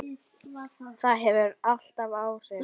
Það hefur allt áhrif.